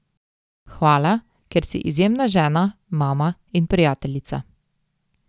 Hvala, ker si izjemna žena, mama in prijateljica.